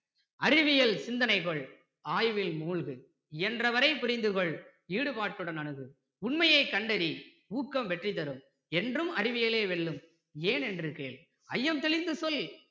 அறிவியல் சிந்தனை கொள் ஆய்வில் மூழ்கு இயன்றவரை புரிந்துகொள் ஈடுபாட்டுடன் அணுகு உண்மையைக் கண்டறி ஊக்கம் வெற்றிதரும் என்றும் அறிவியலே வெல்லும் ஏன் ஏன்று கேள் ஐயம் தெளிந்து சொல்